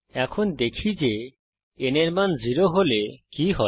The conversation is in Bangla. এখন দেখি যে n এর মান 0 হলে কি হয়